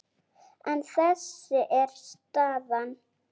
En þessi er staðan.